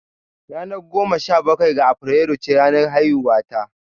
Ranar goma sha bakwai ga Afrilu ce ranar haihuwata.